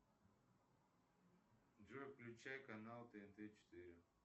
джой включай канал тнт четыре